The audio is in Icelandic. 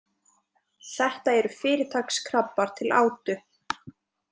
Þetta eru fyrirtaks krabbar til átu.